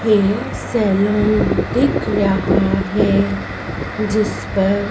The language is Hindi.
हेयर सैलून दिख रहा है जिस पर--